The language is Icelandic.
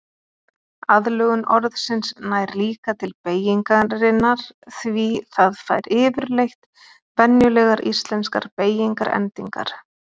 Aðlögun orðsins nær líka til beygingarinnar því það fær yfirleitt venjulegar íslenskar beygingarendingar.